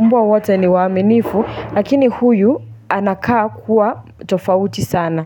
mmbwa wote ni waaminifu lakini huyu anakaa kuwa tofauti sana.